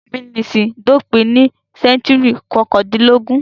Ìmúnisìn dópin ní sẹ́ńtúrì kọkàndínlógún.